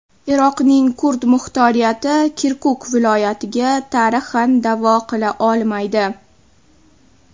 Iroqning kurd muxtoriyati Kirkuk viloyatiga tarixan da’vo qila olmaydi.